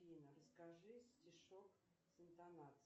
афина расскажи стишок с интонацией